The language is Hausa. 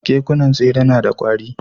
Kekunan tsere nada kwari